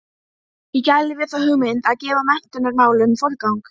Ég gæli við þá hugmynd að gefa menntunarmálum forgang.